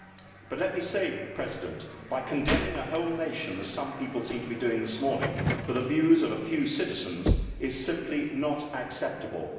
However, condemning a whole nation as some people seem to be doing this morning for the views of a few citizens is simply not acceptable.